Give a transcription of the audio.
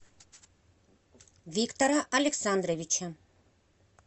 виктора александровича